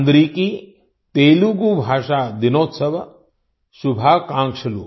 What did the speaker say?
अन्दरिकी तेलुगू भाषा दिनोत्सव शुभाकांक्षलु